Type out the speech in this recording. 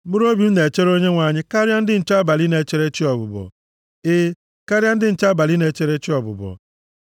Mkpụrụobi m na-echere Onyenwe anyị karịa ndị nche abalị na-echere chị ọbụbọ, e, karịa ndị nche abalị na-echere chị ọbụbọ.